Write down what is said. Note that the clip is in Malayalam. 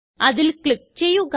അതില് ക്ലിക്ക് ചെയ്യുക